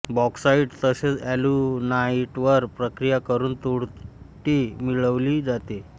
bauxite तसेच एल्युनाइटवर प्रक्रिया करून तुरटी मिळवली जाते